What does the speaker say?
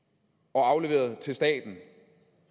og afleveret til staten